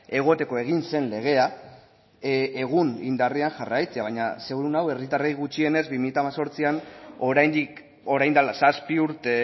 egoteko egin zen legea egun indarrean jarraitzea baina seguru nago herritarrei gutxienez bi mila hemezortzian oraindik orain dela zazpi urte